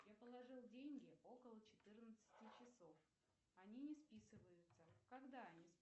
я положил деньги около четырнадцати часов они не списываются когда